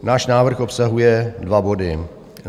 Náš návrh obsahuje dva body.